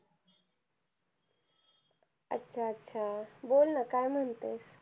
अच्छा अच्छा! बोल ना काय म्हणते.